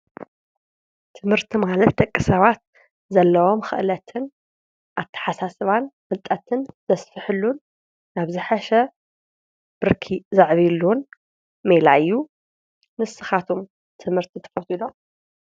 ትምህርቲ ማለት ደቂ ሰባት ዘለዎም ኽእለትን ፣ኣተሓሳስባን፣ ፍልጠትን ዘስፍሕሉን ኣብ ዝሓሸ ብርኪ ዘዕቢይሉን ሜላ እዩ ። ንስኻትኩም ትምህርቲ ትፈትው ዶ?